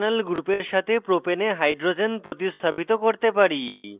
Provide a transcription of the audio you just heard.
আমরা ফাংশনাল গ্রুপের সাথে propane propane we hydrogens প্রতিস্থাপিত করতে পারি: